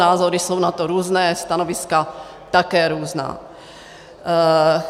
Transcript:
Názory jsou na to různé, stanoviska také různá.